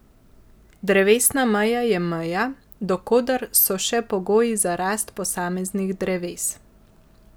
Drevesna meja je meja, do koder so še pogoji za rast posameznih dreves.